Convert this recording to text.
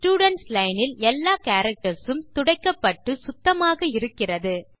students line இல் எல்லா characters உம் துடைக்கப்பட்டு சுத்தமாக இருக்கிறது